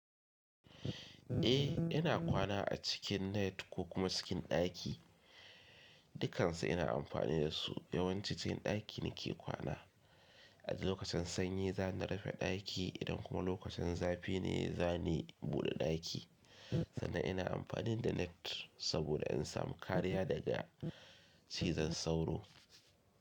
Eh ina kwana a cikin net ko kuma cikin ɗaki. Dukansu ina amfani dasu yawanci cikin ɗaki nake kwana. A lokacin sanyi za ni rufe ɗaki idan kuma lokacin zafi ne za ni buɗe ɗaki. Sannan ina amfani da net saboda in samu kariya daga cizon sauro.